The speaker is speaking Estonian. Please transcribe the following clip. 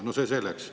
No see selleks.